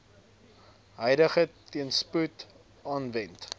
huidige teenspoed aanwend